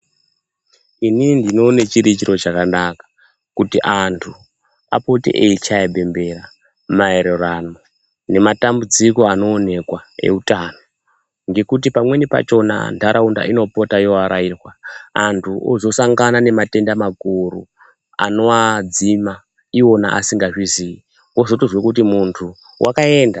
Inini ndinoone chiri chiro chakanaka kuti antu apote eyichaya bembera maererano nematambudziko anoonekwa eutano, ngekuti pamweni pachona ntaraunda inopota yeivarairwa antu otozosangana ngematenda makuru anowadzima iwona asingatozivi, wotozozwe kuti muntu wakaenda.